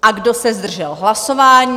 A kdo se zdržel hlasování?